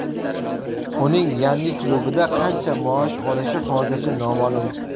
Uning yangi klubida qancha maosh olishi hozircha noma’lum.